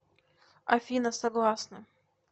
афина согласны